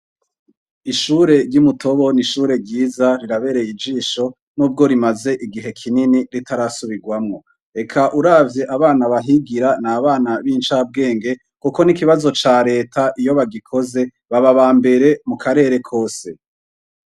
Ishuri ryimu Tobo ni ryiza rirabereye ijisho nubwo rimaze igihe kinini ritarasubirwamwo eka uravye abana bahigira n'abana bincabwenge kuko n'ikibazo ca reta iyo bagikoze baba abambere mu karere kose.